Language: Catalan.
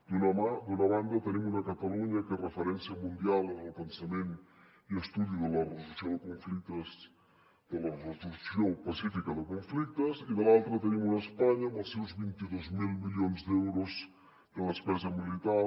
d’una banda tenim una catalunya que és referència mundial en el pensament i estudi de la resolució pacífica de conflictes i de l’altra tenim una espanya amb els seus vint dos mil milions d’euros de despesa militar